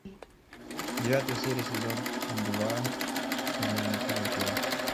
девятая серия сезон два дневники вампира